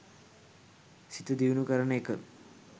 සිත දියුණු කරන එක